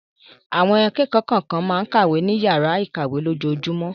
Àwọn akẹ́kọ̀ọ́ kọ̀ọ̀kan máa ń kàwé ní ìyàrá-ìkàwé lójoojúmọ́.